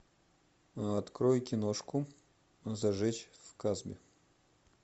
открой киношку зажечь в касбе